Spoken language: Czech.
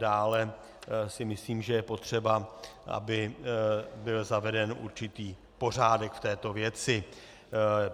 Dále si myslím, že je potřeba, aby byl zaveden určitý pořádek v této věci.